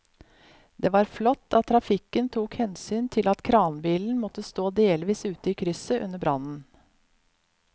Det var flott at trafikken tok hensyn til at kranbilen måtte stå delvis ute i krysset under brannen.